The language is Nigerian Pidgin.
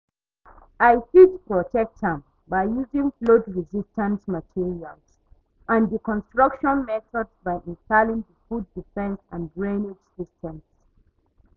i fit protect am by using flood-resistant materials and di construction methods by installing di flood defense and drainage systems.